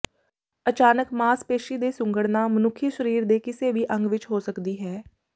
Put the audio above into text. ਅਚਾਨਕ ਮਾਸਪੇਸ਼ੀ ਦੇ ਸੁੰਗੜਨਾ ਮਨੁੱਖੀ ਸਰੀਰ ਦੇ ਕਿਸੇ ਵੀ ਅੰਗ ਵਿੱਚ ਹੋ ਸਕਦੀ ਹੈ